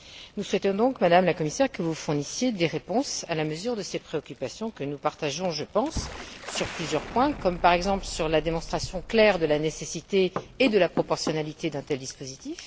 Nous souhaitons donc, Madame la Commissaire, que vous fournissiez des réponses à la mesure de ces préoccupations que nous partageons, je pense, sur plusieurs points, comme, par exemple, sur la démonstration claire de la nécessité et de la proportionnalité d'un tel dispositif